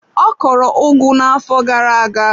Ọ kọrọ ugu na-afọ gara aga.